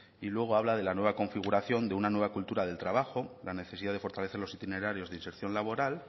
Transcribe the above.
y luego habla de la nueva configuración de una nueva cultura del trabajo la necesidad de fortalecer los itinerarios de inserción laboral